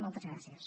moltes gràcies